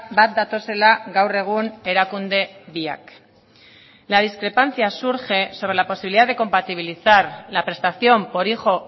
bat datozela gaur egun erakunde biak la discrepancia surge sobre la posibilidad de compatibilizar la prestación por hijo